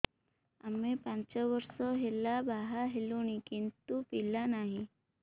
ଆମେ ପାଞ୍ଚ ବର୍ଷ ହେଲା ବାହା ହେଲୁଣି କିନ୍ତୁ ପିଲା ନାହିଁ